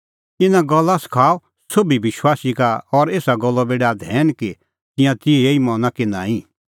इना गल्ला सखाऊ सोभी विश्वासी का और एसा गल्लो बी डाह धैन कि तिंयां तिहअ ई मना कि नांईं